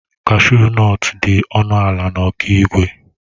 Kashu nọtu dị ọnụ ala na Okigwe.